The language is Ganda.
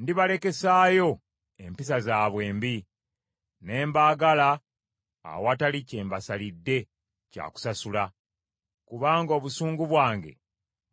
Ndibalekesaayo empisa zaabwe embi, ne mbaagala awatali kye mbasalidde kya kusasula. Kubanga obusungu bwange